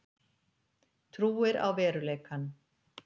Trúir á veruleikann.